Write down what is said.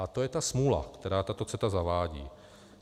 A to je ta smůla, kterou tato CETA zavádí.